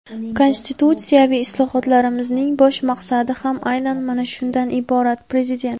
Konstitutsiyaviy islohotlarimizning bosh maqsadi ham aynan mana shundan iborat – Prezident.